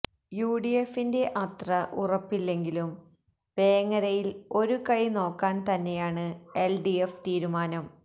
യുഡിഎഫിന്റെ അത്ര ഉറപ്പില്ലെങ്കിലും വേങ്ങരയില് ഒരു കൈ നോക്കാന് തന്നെയാണ് എല്ഡിഎഫ് തീരുമാനം